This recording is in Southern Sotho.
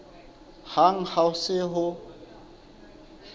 hang ha ho se ho